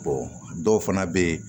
dɔw fana bɛ yen